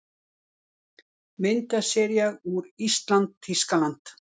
Myndasería úr ÍSLAND- Þýskaland